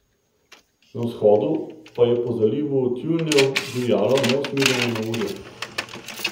Na vzhodu pa je po Zalivu tjulnjev divjalo neusmiljeno neurje.